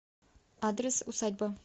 адрес усадьба